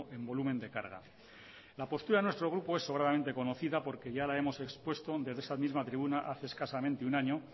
en volumen de carga la postura de nuestro grupo es sobradamente conocida porque ya la hemos expuesto desde esta misma tribuna hace escasamente un año